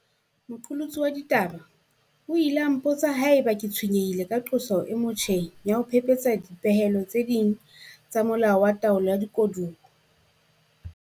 Moqolotsi wa ditaba o ile a mpotsa haeba ke tshwenyehile ka qoso e motjheng ya ho phephetsa dipehelo tse ding tsa Molao wa Taolo ya Dikoduwa.